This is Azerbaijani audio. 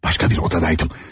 Başqa bir otaqdaydım.